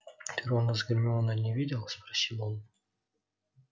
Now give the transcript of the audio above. ты рона с гермионой не видел спросил он